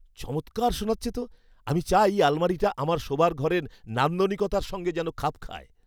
চমৎকার শোনাচ্ছে তো! আমি চাই আলমারিটা আমার শোবার ঘরের নান্দনিকতার সঙ্গে যেন খাপ খায়।